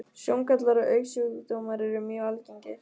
Sjóngallar og augnsjúkdómar eru mjög algengir.